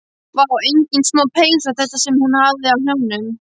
Vá, engin smá peysa þetta sem hún hafði á hnjánum.